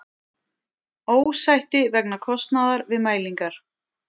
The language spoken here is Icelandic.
Ósætti vegna kostnaðar við mælingar